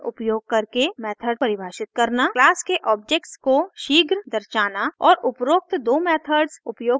class के objects को शीघ्र दर्शाना और उपरोक्त दो मेथड्स उपयोग करके वैल्यूज सेट और प्राप्त करना